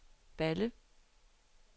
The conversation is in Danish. Balle